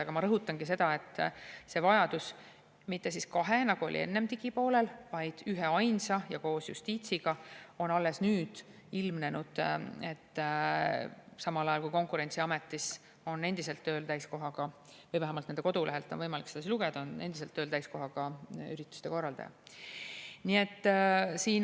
Aga ma rõhutangi seda, et vajadus mitte kahe, nagu oli enne digipoolel, vaid üheainsa järele ja seda koos justiitsiga, on alles nüüd ilmnenud, samal ajal kui Konkurentsiametis on endiselt tööl – vähemalt nende kodulehelt on võimalik seda lugeda – täiskohaga ürituste korraldaja.